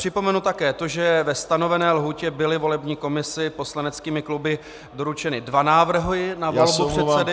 Připomenu také to, že ve stanovené lhůtě byly volební komisi poslaneckými kluby doručeny dva návrhy na volbu předsedy.